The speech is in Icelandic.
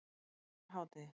hádegi